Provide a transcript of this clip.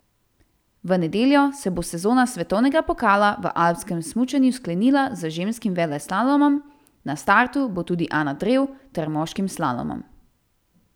V nedeljo se bo sezona svetovnega pokala v alpskem smučanju sklenila z ženskim veleslalomom, na startu bo tudi Ana Drev, ter moškim slalomom.